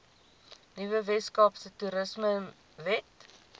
nuwe weskaapse toerismewet